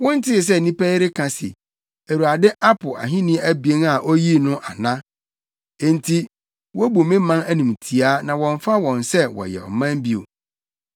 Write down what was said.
“Wontee sɛ nnipa yi reka se, ‘ Awurade apo ahenni abien a oyii no’ ana? Enti wobu me man animtiaa na wɔmmfa wɔn sɛ wɔyɛ ɔman bio.